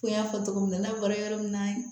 Ko in y'a fɔ togo min na n'a bɔra yɔrɔ min na